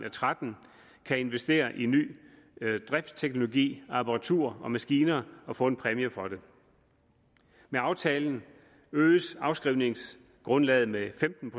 og tretten kan investere i ny driftsteknologi apparatur og maskiner og få en præmie for det med aftalen øges afskrivningsgrundlaget med femten